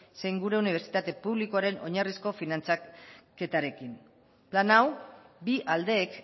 zein gure unibertsitate publikoaren oinarrizko finantzaketarekin plan hau bi aldeek